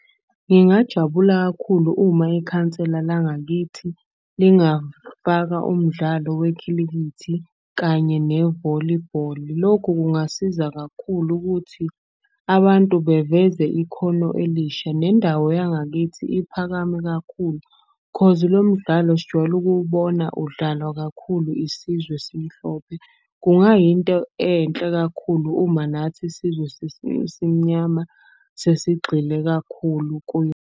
Ngingajabula kakhulu uma ikhansela langakithi lingafaka umdlalo wekhilikithi kanye nevolibholi. Lokhu kungasiza kakhulu ukuthi abantu beveze ikhono elisha, nendawo yangakithi iphakame kakhulu. Cause lo mdlalo sijwayele uwukubona udlalwa kakhulu isizwe esimhlophe. Kungayinto enhle kakhulu uma nathi sizwe esimnyama sesigxile kakhulu kuyo.